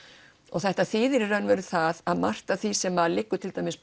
og þetta þýðir í raun og veru það að margt af því sem liggur til dæmis